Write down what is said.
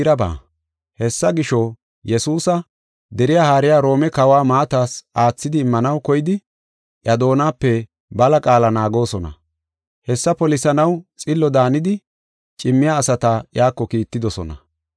Hessa gisho, Yesuusa deriya haariya Roome kawa maatas aathidi immanaw koyidi iya doonape bala qaala naagoosona. Hessa polisanaw xillo daanidi cimmiya asata iyako kiittidosona.